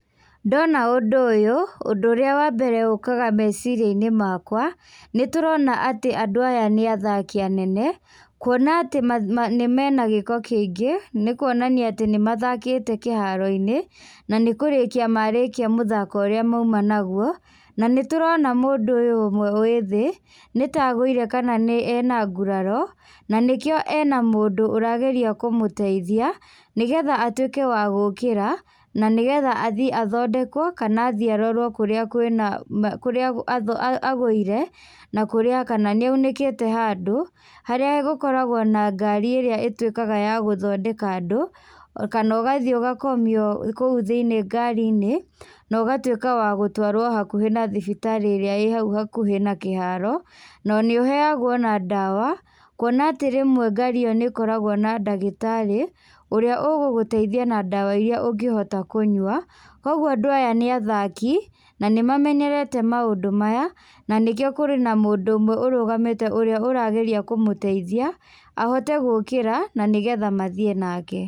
Ndona ũndũ ũyũ, ũndũ ũrĩa wambere ũkaga meciria-inĩ makwa, nĩtũrona atĩ andũ aya nĩ athaki anene, kuona atĩ mena gĩko kĩingĩ, nĩkuonania atĩ nĩmathakĩte kĩharo-inĩ, nanĩkũrĩkia marĩkia mũthako ũrĩa mauma naguo, nanĩtũrona mũndũ ũyũ ũmwe wĩ thĩ, nĩta agũire kana ena nguraro, na nĩkĩo ena mũndũ ũrageria kũmũteithia, nĩgetha atuĩke wa gũkĩra, na nĩgetha athiĩ athondekwo kana athiĩ arorwo kũrĩa kwĩna, na kũrĩa athũ agũire, na kũrĩa, kana nĩaunĩkĩte handũ, harĩa gũkoragwo na ngari ĩrĩa ĩtuĩkaga ya gũthondeka andũ, kana ũgathiĩ ũgakomio kũu thĩiniĩ ngari-inĩ, nogatuĩka wa gũtwarwo hakuhĩ na thibitarĩ ĩrĩa ĩ hau hakuhĩ na kĩharo, na nĩũheagwo ona ndawa, kuona atĩ rĩmwe ngari ĩyo nĩkoragwo na ndagĩtarĩ, ũrĩa ũgũgũteithia na ndawa iria ũngĩhota kũnyua, koguo andũ aya nĩ athaki, nanĩmamenyerete maũndũ maya, na nĩkĩo kũrĩ na mũndũ ũmwe ũrũgamĩte ũrĩa ũrageria kũmũteithia, ahote gũkĩra, nanĩgetha mathiĩ nake.